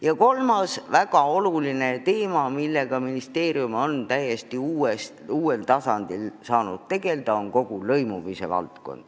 Ja kolmas väga oluline teema, millega ministeerium on täiesti uuel tasandil saanud tegelda, on lõimumine.